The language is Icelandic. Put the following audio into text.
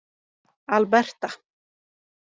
Alberta